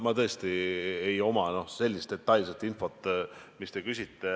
Mul tõesti ei ole detailset infot, mida te küsite.